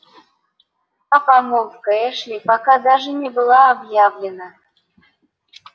а помолвка эшли пока даже не была объявлена